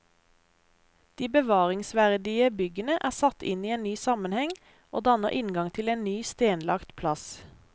De bevaringsverdige byggene er satt inn i en ny sammenheng og danner inngang til en ny stenlagt plass.